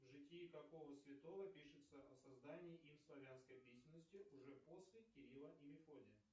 в житии какого святого пишется о создании им славянской письменности уже после кирилла и мефодия